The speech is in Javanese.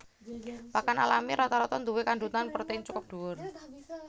Pakan alami rata rata nduwé kandhutan protèin cukup dhuwur